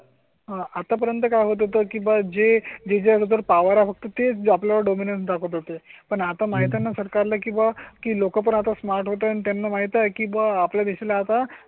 आतापर्यंत काय होतं की जे डी जर पॉवर फक्त ते जो आपल्या डोमेन दाखवत होते पण आता माहित आहे ना सरकार ला किंवा की लोक आता स्मार्ट होताना त्यांना माहित आहे की आपल्या देशा ला आता